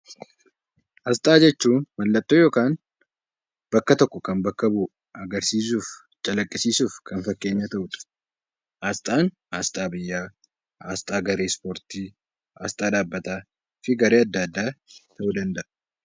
Asxaa jechuun mallattoo yookaan bakka tokko kan bakka bu'u agarsiisuuf, calaqqisiisuuf kan fakkeenya ta'u dha. Asxaan Asxaa biyyaa, Asxaa Ispoortii, Asxaa dhaabbataa fi garee addaa addaa ta'uu danda'a.